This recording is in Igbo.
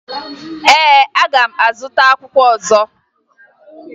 Ee, aga m azụta akwụkwọ ọzọ